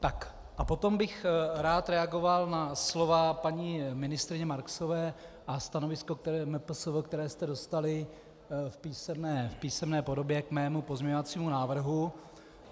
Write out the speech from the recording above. A potom bych rád reagoval na slova paní ministryně Marksové a stanovisko MPSV, které jste dostali v písemné podobě k mému pozměňovacímu návrhu.